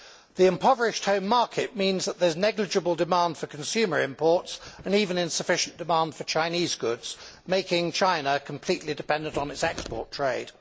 The impoverished home market means that there is negligible demand for consumer imports and even insufficient demand for Chinese goods, making China completely dependent on its export trade.